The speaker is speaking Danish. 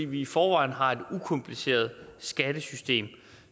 vi i forvejen har et ukompliceret skattesystem